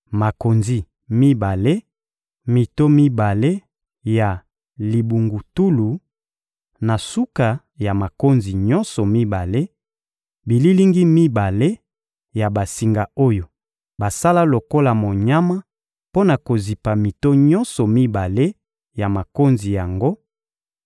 makonzi mibale, mito mibale ya libungutulu na suka ya makonzi nyonso mibale, bililingi mibale ya basinga oyo basala lokola monyama mpo na kozipa mito nyonso mibale ya makonzi yango,